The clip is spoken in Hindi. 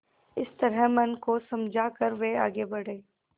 इस तरह मन को समझा कर वे आगे बढ़े